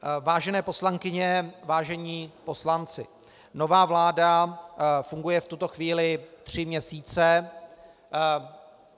Vážené poslankyně, vážení poslanci, nová vláda funguje v tuto chvíli tři měsíce.